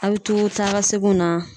A be to taa ka seginw na